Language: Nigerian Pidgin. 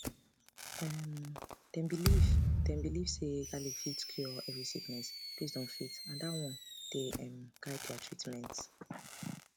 um dem believe dem believe say garlic fit cure every sickness based on faith and dat one dey um guide their treatment